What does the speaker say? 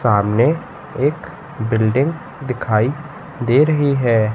सामने एक बिल्डिंग दिखाई दे रही है।